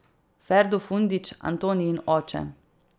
Ferdo Fundić, Antonijin oče.